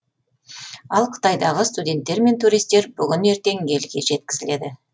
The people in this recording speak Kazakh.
ал қытайдағы студенттер мен туристер бүгін ертең елге жеткізіледі